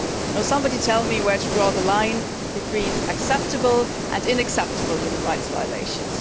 Can somebody tell me where one draws the line between acceptable and unacceptable human rights violations?